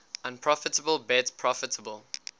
unprofitable bet profitable